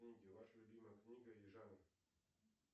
ваша любимая книга и жанр